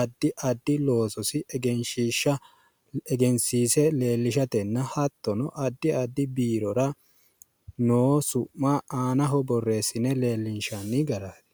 addi addi loososi egensiise leellishatenna hattono addi addi biirora noo su'ma aanaho borreessine leellinshanni garaati.